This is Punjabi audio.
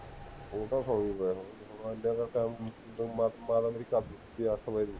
ਉਹ ਤਾਂ ਸੌਂ ਗਏ ਹੋਣੇ, ਇਨ੍ਹਾਂ ਕੁ time ਅੱਠ ਵਜੇ ਦੀ